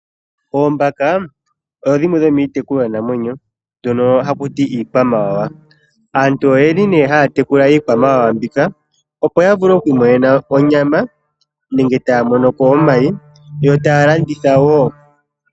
Oombaka odho dhimwe dhomiitekulwanamwenyo mbyono haku ti iikwamawawa. Aantu oye li nee haya tekula iikwamawawa mbika opo ya vule oku imonena onyama nenge taya monoko omayi, yo taya landitha wo.